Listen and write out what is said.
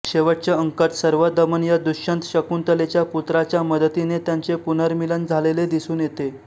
शेवटच्या अंकात सर्वदमन या दुष्यंत शकुंतलेच्या पुत्राच्या मदतीने त्यांचे पुनर्मिलन झालेले दिसून येते